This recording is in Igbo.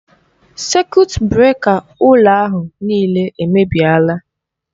Sekut breka ụlọ ahụ nịịle èmèbịèlà.